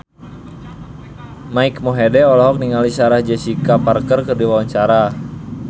Mike Mohede olohok ningali Sarah Jessica Parker keur diwawancara